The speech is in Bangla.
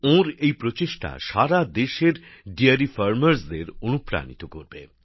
ওঁর এই প্রচেষ্টা সারাদেশে দুগ্ধ শিল্পের সঙ্গে যুক্তদের অনুপ্রাণিত করবে